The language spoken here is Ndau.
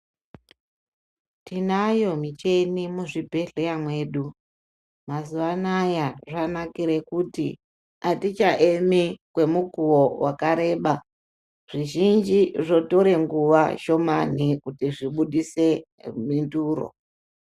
Tinayo michini muzvibhedhlera mwedu mazuwa anaya zvanaka kuti atichaemi kwemukuwo wakareba ,zvizhinji zvotora nguwa shomani kuti zvibudise mhinduro.